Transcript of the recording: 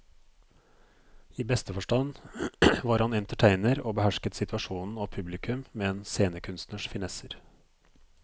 I beste forstand var han entertainer og behersket situasjonen og publikum med en scenekunstners finesser.